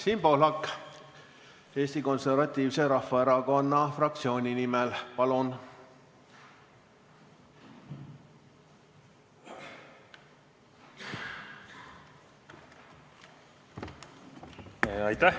Siim Pohlak Eesti Konservatiivse Rahvaerakonna fraktsiooni nimel, palun!